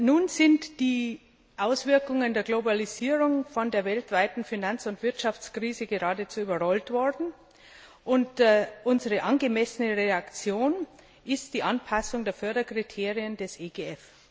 Nun sind die Auswirkungen der Globalisierung von der weltweiten Finanz und Wirtschaftskrise geradezu überrollt worden, und unsere angemessene Reaktion ist die Anpassung der Förderkriterien des EGF.